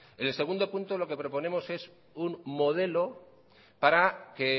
en el punto dos lo que proponemos es un modelo para que